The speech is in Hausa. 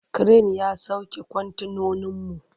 Kiren ya sauke kwantenoninmu.